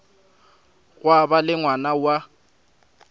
gwa ba le ngwana wa